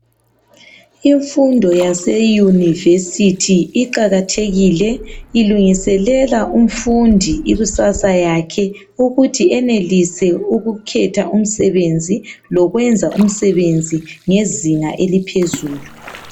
Imfundo yaseyunivesithi iqakathekile ilungiselela umfundi ikusasa yakhe ukuthi enelelise ukukhetha umsebenzi lokwenza umsebenzi ngezinga eliphezulu.